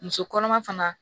Muso kɔnɔma fana